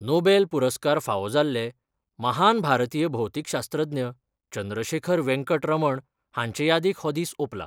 Nobel पुरस्कार फावो जाल्ले महान भारतीय भौतीकशास्त्रज्ञ चंद्रशेखर वेंकट रमण हांचे यादीक हो दीस ओपला.